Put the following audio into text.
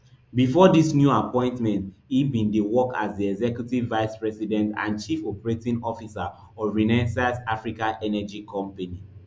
bifor dis new appointment e bin dey work as di executive vice president and chief operating officer of renaissance africa energy company